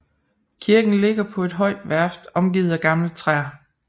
Kirken ligger på et højt værft omgivet af gamle træer